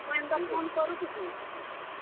ଏନ୍ତା phone କରୁଥିବୁ।